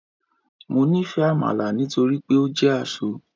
Mo nifẹ amala nitori pe o jẹ asọ